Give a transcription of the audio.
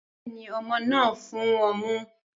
Bẹẹni, ọmọ naa n fun ọmu